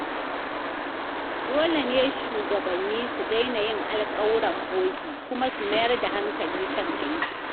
Dole ne shugabanni su daina yin alkawuran bogi kuma su mayar da hankali kan aiki.